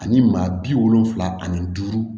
Ani maa bi wolonfila ani duuru